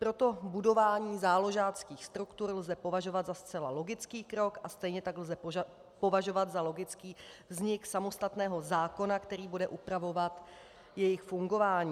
Proto budování záložáckých struktur lze považovat za zcela logický krok a stejně tak lze považovat za logický vznik samostatného zákona, který bude upravovat jejich fungování.